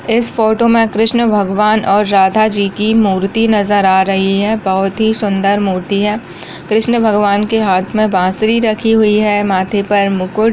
इस फोटो में कृष्ण भगवान और राधा जी की मूर्ति नजर आ रही है बहुत ही सुंदर मूर्ति है कृष्ण भगवान के हाथ में बांसुरी रखी हुई है माथे पर मुकुट --